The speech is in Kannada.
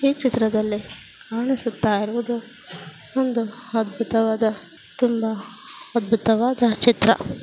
ಈ ಚಿತ್ರದಲ್ಲಿ ಕಾಣಿಸುತ್ತಾ ಇರುವುದು ಒಂದು ಅದ್ಭುತವಾದ ತುಂಬಾ ಅದ್ಭುತವಾದ ಚಿತ್ರ.